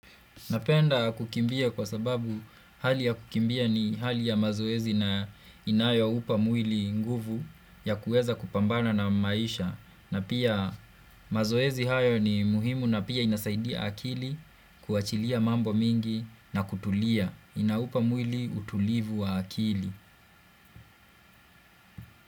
Napenda kukimbia kwa sababu hali ya kukimbia ni hali ya mazoezi na inayo upa mwili nguvu ya kueza kupambana na maisha na pia mazoezi hayo ni muhimu na pia inasaidia akili kuachilia mambo mingi na kutulia inaupa mwili utulivu wa akili.